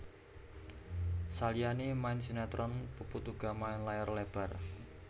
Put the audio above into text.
Saliyané main sinetron Puput uga main layar lebar